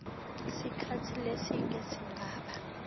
sikhatsi lesidze lesingaba